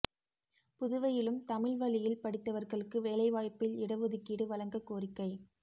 புதுவையிலும் தமிழ் வழியில் படித்தவா்களுக்கு வேலைவாய்ப்பில் இட ஒதுக்கீடு வழங்கக் கோரிக்கை